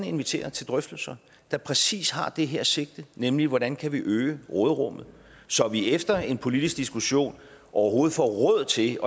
invitere til drøftelser der præcis har det her sigte nemlig hvordan vi kan øge råderummet så vi efter en politisk diskussion overhovedet får råd til